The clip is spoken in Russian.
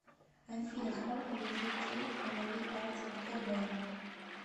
афина сколько лежит денег на моей карте втб